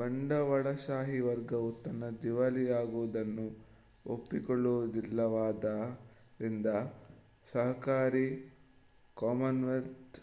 ಬಂಡವಾಳಶಾಹಿ ವರ್ಗವು ತನ್ನ ದಿವಾಳಿಯಾಗುವುದನ್ನು ಒಪ್ಪಿಕೊಳ್ಳುವುದಿಲ್ಲವಾದ್ದರಿಂದ ಸಹಕಾರಿ ಕಾಮನ್ವೆಲ್ತ್